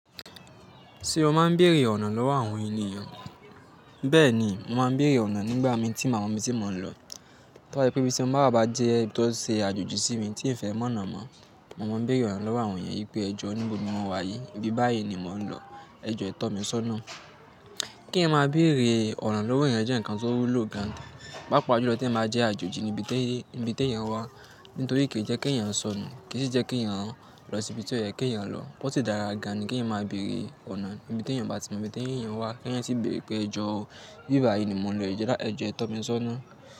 Ṣé o máa ń bèrè ọ̀nà lọ́wọ́ àwọn ènìyàn? Bẹ́ẹ̀ni, mo máa ń bèrè ọ̀nà nígbà mi tí mi ò bá mọ ibi tí mò ń lọ. Tóbá jẹ́ pé ibí ti mo bá wa jẹ ibi tó ṣe àjòjì sí mi tí n fẹ́ mọ̀nà mọ̀, mo máa ń bèrè ọ̀nà lọ́wọ́ àwọn ènìyàn wípé ẹjọ́ níbo ni mọ̀ wá yìí, ibi báyìí ni mò ń lọ. Ẹ jẹ́ ẹ tọ́ mi sọ́nà. Kí ń máa bèrè ọ̀nà lọ́wọ́ ènìyàn jẹ́ ǹkan tó wú lò gan, pàápàá ju lọ tí ẹ máa jẹ́ àjòjì níbi tí ènìyàn wá. Nítorí kì í jẹ́ kí ẹ̀yàn sọnù, kì í sì jẹ́ kí ẹ̀yàn lọ síbi tí ọ̀yẹ́ kí ẹ̀yàn lọ. Ósì dára gani ni kí ẹ̀niyan máa bèrè ọ̀nà níbi tí ènìyàn bá ti mọ ibi tí ènìyàn wá, kí ènìyàn sì bèrè pé ẹjọ́ o, ibí báyìí ni mò ń lọ, ẹ jẹ́ ẹ jo e tọ́ mi sọ́nà.